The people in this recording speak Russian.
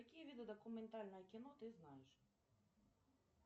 какие виды документальное кино ты знаешь